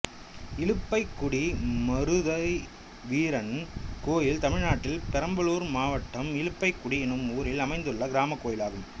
இலுப்பைக்குடி மருதைவீரன் கோயில் தமிழ்நாட்டில் பெரம்பலூர் மாவட்டம் இலுப்பைக்குடி என்னும் ஊரில் அமைந்துள்ள கிராமக் கோயிலாகும்